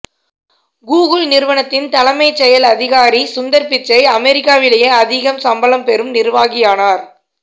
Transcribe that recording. Google நிறுவனத்தின் தலைமைச் செயல் அதிகாரி சுந்தர் பிச்சை அமெரிக்காவிலேயே அதிகம் சம்பளம் பெறும் நிர்வாகியானார்